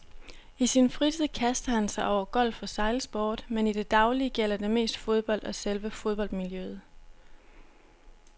I sin fritid kaster han sig over golf og sejlsport, men i det daglige gælder det mest fodbold og selve fodboldmiljøet.